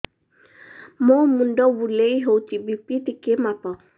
ମୋ ମୁଣ୍ଡ ବୁଲେଇ ହଉଚି ବି.ପି ଟିକେ ମାପ